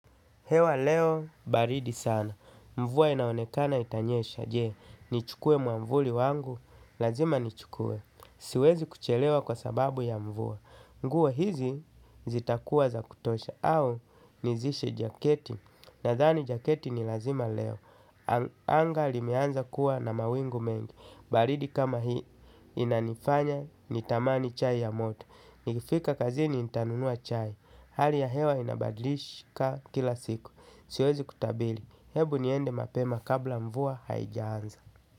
Hewa leo baridi sana, mvua inaonekana itanyesha, jee, nichukue mwamvuli wangu, lazima nichukue, siwezi kuchelewa kwa sababu ya mvua. Nguo hizi zitakuwa za kutosha, au nizishe jaketi, nadhani jaketi ni lazima leo, anga limeanza kuwa na mawingu mengi, baridi kama hii inanifanya nitamani chai ya moto. Nikifika kazini nitanunua chai. Hali ya hewa inabadilika kila siku. Siwezi kutabili. Hebu niende mapema kabla mvua haijaanza.